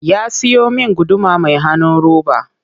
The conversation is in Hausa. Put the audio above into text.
Ya siyo min guduma mai hanun roba